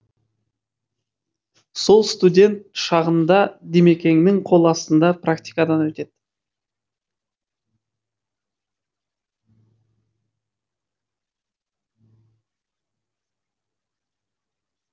сол студент шағында димекеңнің қол астында практикадан өтеді